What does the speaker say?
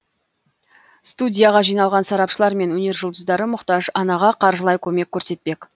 студияға жиналған сарапшылар мен өнер жұлдыздары мұқтаж анаға қаржылай көмек көрсетпек